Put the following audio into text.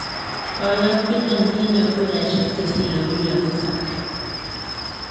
Boyot Biden kinyor kuraisiek che sirei milion tisab .